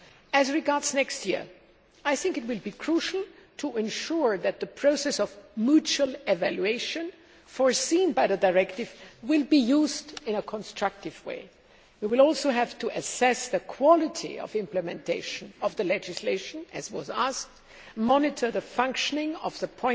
As regards next year, I think it will be crucial to ensure that the process of mutual evaluation provided for in the directive is used in a constructive way. We will also have to assess the quality of implementation of the legislation, as was asked, monitor the functioning of the